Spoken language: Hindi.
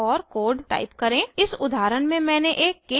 इस उदाहरण में मैंने एक case स्टेटमेंट घोषित किया है